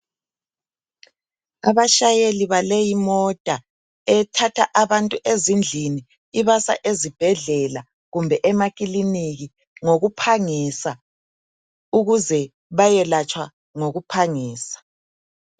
Abashayeli baleyi imota ethatha abantu ezindlini ibasa ezibhedlela kumbe emakiliniki ngokuphangisa ukuze bayelatshwa ngokuphangisa.